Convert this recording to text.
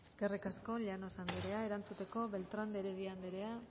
eskerrik asko llanos andrea erantzuteko beltrán de heredia andrea